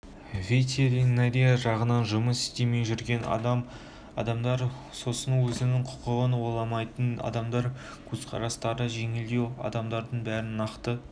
ветеринария жағынан жұмыс істемей жүрген адамдар сосын өзінің құқығын ойламайтын адамдар көзқарастары жеңілдеу адамдардың бәрін нақты